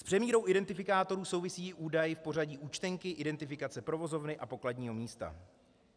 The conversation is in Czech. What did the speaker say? S přemírou identifikátorů souvisí údaj o pořadí účtenky, identifikace provozovny a pokladního místa.